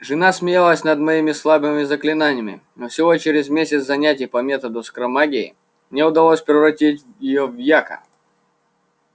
жена смеялась над моими слабыми заклинаниями но всего через месяц занятий по методу скоромагии мне удалось превратить её в яка